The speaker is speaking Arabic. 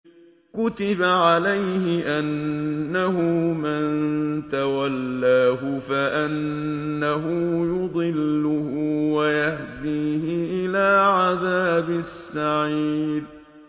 كُتِبَ عَلَيْهِ أَنَّهُ مَن تَوَلَّاهُ فَأَنَّهُ يُضِلُّهُ وَيَهْدِيهِ إِلَىٰ عَذَابِ السَّعِيرِ